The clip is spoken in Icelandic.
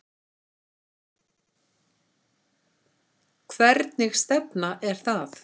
Hvernig stefna er það?